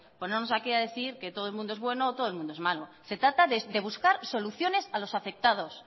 ponernos a decir aquí que todo el mundo es bueno o que todo el mundo es malo se trata de buscar soluciones a los afectados